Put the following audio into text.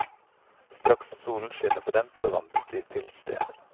Straks solen skinner på dem, forvandles de til sten.